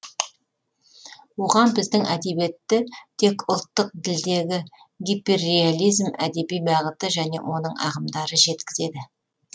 оған біздің әдебиетті тек ұлттық ділдегі гиперреализм әдеби бағыты және оның ағымдары жеткізеді